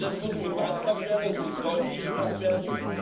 Das muss gebrandmarkt werden, das muss deutlich gemacht werden.